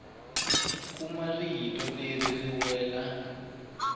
khume ra tiko leri ri wile